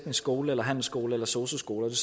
skole eller handelsskole eller sosu skole og